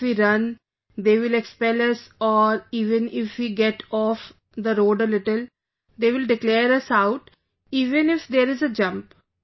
Even if we run, they will expel us or even if we get off the road a little, they will declare us out even if there is a jump